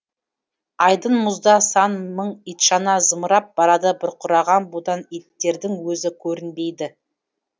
айдын мұзда сан мың итшана зымырап барады бұрқыраған будан иттердің өзі көрінбейді